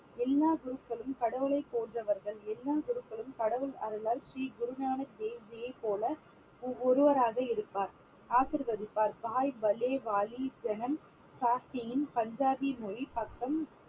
எல்லா குருக்களும் கடவுளை போன்றவர்கள் எல்லா குருக்களும் கடவுள் அருளால் ஸ்ரீ குரு நானக் தேவ் ஜியை போல ஒ~ ஒருவராக இருப்பார் ஆசீர்வதிப்பார் பஞ்சாபி மொழி பக்கம்